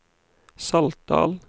Saltdal